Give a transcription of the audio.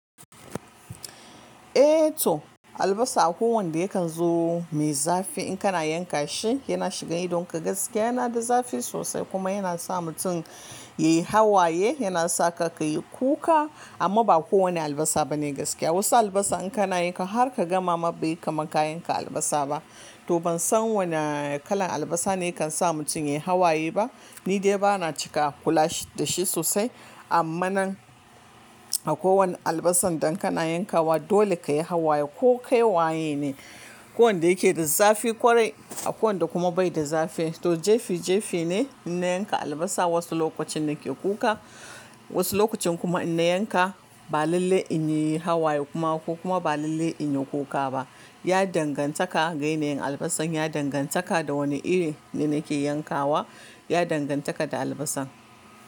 Eh to albasa akwai wanda yakan zo mai zafi in kana yanka shi yana shiga idonka gaskiya yana da zafi sosai kuma yana sa mutum yayi hawaye yana sa ka kayi kuka amma ba kowane albasa bane gaskiya. Wasu albasa in kana yanka har ka gama ma bai kama kayanka albasa ba. To ban san wane kalan albasa ne kan sa mutum yayi hawaye ba. Ni dai bana cika kula dashi sosai amma nan a kowane albasan dan kana yankawa dole kayi hawaye ko kayi waye ne. Ko wanda yake da zafi ƙwarai a ko wanda kuma bai da zafi. To jefi jefi ne in na yanka albasa wasu lokacin nake kuka wasu lokacin kuma in na yanka ba lallai in yi hawaye kuma ko kuma ba lallai in yi kuka ba. Ya dangantaka ga yanayin albasan, ya dangantaka da wane iri ne nake yankawa, ya dangantaka da albasan.